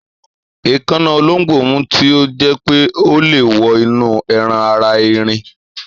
èkáná olóńgbò mú tí o jé pé ọ lẹ wọ inú ẹran ara ẹrin